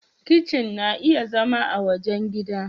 Kitchen na iya zama a wajen gidan.